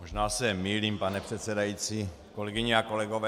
Možná se mýlím, pane předsedající, kolegyně a kolegové.